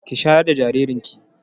Ki shayar da jaririn ki!